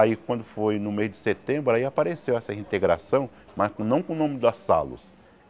Aí, quando foi no mês de setembro, aí apareceu essa reintegração, mas com não com o nome da salos.